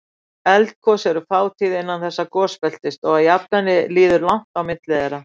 Eldgos eru fátíð innan þessa gosbeltis og að jafnaði líður langt á milli þeirra.